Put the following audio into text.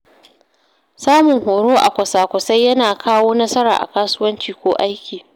Samun horo a kwasa-kwasai yana kawo nasara a kasuwanci ko aiki.